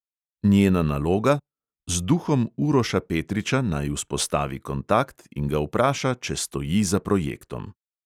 Njena naloga: z duhom uroša petriča naj vzpostavi kontakt in ga vpraša, če stoji za projektom.